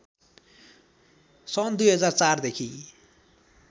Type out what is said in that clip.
सन २००४ देखि